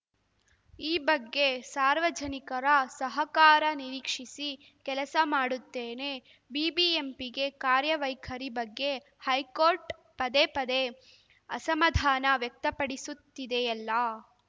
ಈ ಬಗ್ಗೆ ಸಾರ್ವಜನಿಕರ ಸಹಕಾರ ನಿರೀಕ್ಷಿಸಿ ಕೆಲಸ ಮಾಡುತ್ತೇನೆ ಬಿಬಿಎಂಪಿಗೆ ಕಾರ್ಯವೈಖರಿ ಬಗ್ಗೆ ಹೈಕೋರ್ಟ್‌ ಪದೇ ಪದೇ ಅಸಮಾಧಾನ ವ್ಯಕ್ತಪಡಿಸುತ್ತಿದೆಯಲ್ಲಾ